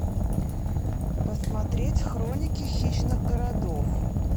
посмотреть хроники хищных городов